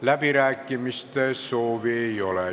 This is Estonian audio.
Läbirääkimiste soovi ei ole.